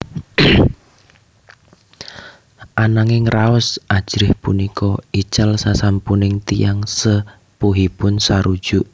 Ananging raos ajrih punika ical sasampuning tiyang sepuhipun sarujuk